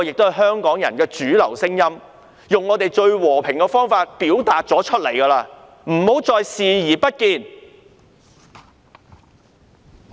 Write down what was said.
這是香港人的主流聲音，而我們已經用最和平的方法表達出來，請她不要繼續視而不見。